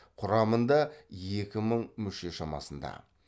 құрамында екі мың мүше шамасында